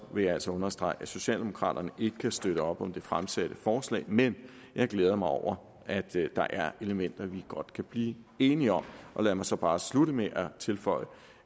vil jeg altså understrege at socialdemokraterne ikke kan støtte op om det fremsatte forslag men jeg glæder mig over at der er elementer vi godt kan blive enige om lad mig så bare slutte med at tilføje